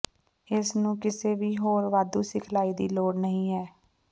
ਇਸ ਨੂੰ ਕਿਸੇ ਵੀ ਹੋਰ ਵਾਧੂ ਸਿਖਲਾਈ ਦੀ ਲੋੜ ਨਹੀ ਹੈ